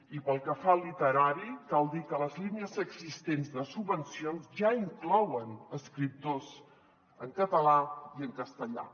i pel que fa al literari cal dir que les línies existents de subvencions ja inclouen escriptors en català i en castellà